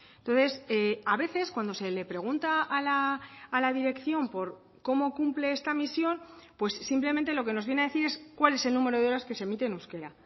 entonces a veces cuando se le pregunta a la dirección por cómo cumple esta misión pues simplemente lo que nos viene a decir es cuál es el número de horas que se emite en euskera